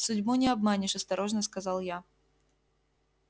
судьбу не обманешь осторожно сказал я